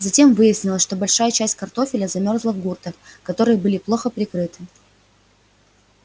затем выяснилось что большая часть картофеля замёрзла в гуртах которые были плохо прикрыты